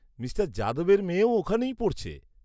-Mr যাদবের মেয়েও ওখানেই পড়ছে।